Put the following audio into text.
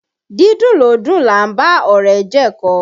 Dídùn lódùn là ń bá ọ̀rẹ́ jẹ ẹ̀kọ